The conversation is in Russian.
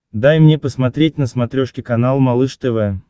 дай мне посмотреть на смотрешке канал малыш тв